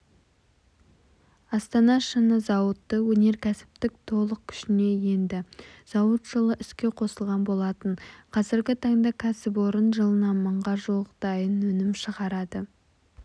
астана шыны зауыты өнеркәсіптік толық күшіне енді зауыт жылы іске қосылған болатын қазіргі таңда кәсіпорын жылына мыңға жуық дайын өнім шығарады